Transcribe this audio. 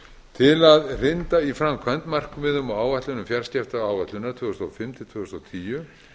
til að hrinda í framkvæmd markmiðum og áætlunum fjarskiptaáætlunar tvö þúsund og fimm til tvö þúsund og tíu